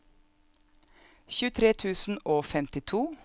tjuetre tusen og femtito